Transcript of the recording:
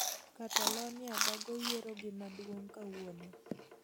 Catalonia bago yiero gi maduong kawuono